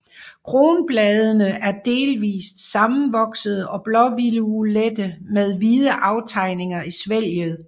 Kronbladene er delvist sammenvoksede og blåviolette med hvide aftegninger i svælget